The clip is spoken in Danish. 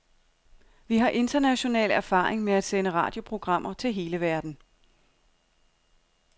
Vi har international erfaring med at sende radioprogrammer til hele verden.